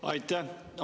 Aitäh!